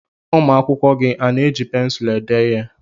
Ụmụ akwụkwọ gị a na-eji pensụlụ ede ihe?